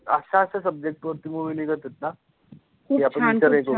अशा अशा subject वरती movie निघत होते ना.